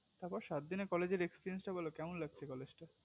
তার পর সাত দিনের college এর experience টা বোলো কেমন লাগছে college টা